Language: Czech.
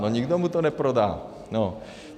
No nikdo mu to neprodá, no.